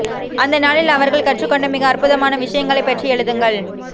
அந்த நாளில் அவர்கள் கற்றுக்கொண்ட மிக அற்புதமான விஷயங்களைப் பற்றி எழுதுங்கள்